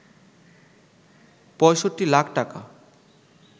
৬৫ লাখ টাকা